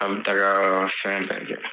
An bi taga fɛn bɛɛ kɛ.